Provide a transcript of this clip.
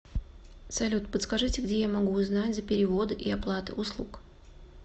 салют подскажите где я могу узнать за переводы и оплаты услуг